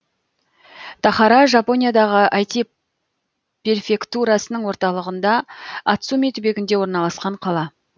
тахара жапониядағы айти перфектурасының орталығында ацуми түбегінде орналасқан қала